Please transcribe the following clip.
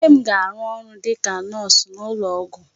Nne m ga-arụ ọrụ dịka nọọsụ n'ụlọ ọgwụ.